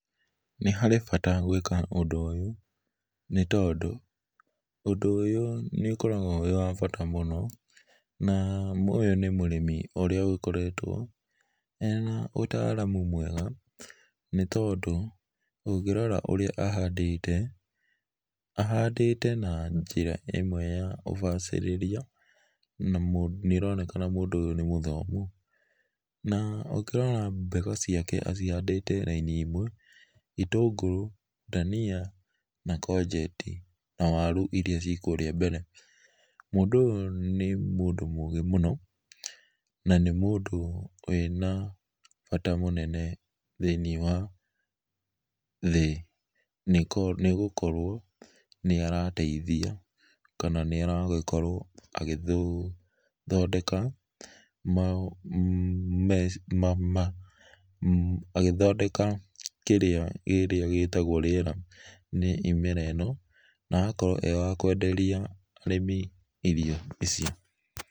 Nĩ harĩ bata gwĩka ũndũ ũyũ nĩ tondũ ũndũ ũyũ nĩ ũkoragwo wĩ wa bata mũno na ũyũ nĩ mũrĩmi ũrĩa ũgĩkoretwo ena ũtaaramũ mwega nĩ tondũ ũngĩrora ũrĩa ahandĩte, ahandĩte na njĩra ĩmwe ya ũbacirĩrĩa na nĩronekana mũndũ ũyũ nĩ mũthomũ na ũngĩrora mboga ciake acihandĩte raĩnĩ ĩmwe itũngũrũ, danĩa na codget na warũ ĩrĩa cie kũrĩa mbere. Mũndũ ũyũ nĩ mũndũ mũgĩ mũno na nĩ mũndũ wĩna bata mũnene thĩ inĩ wa thĩ nĩ gũkorwo nĩaratethĩa kana nĩ aragĩkorwo agĩthondeka agĩthondeka kĩrĩa gĩtegwo rĩera nĩ ĩmera ĩno na agakorwo e wa kũenderĩa arĩmi irio ici.